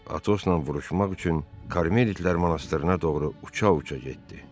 Atosla vuruşmaq üçün Karmelitlər monastırına doğru uça-uça getdi.